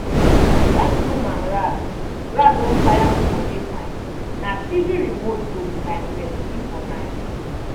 when broom and rag rag don tire me for day time na tv remote go be my bestie for night.